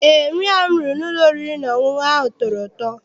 Eé, nri ahụ m riri n'ụlọ oriri na ọṅụṅụ ahụ tọrọ ụtọ.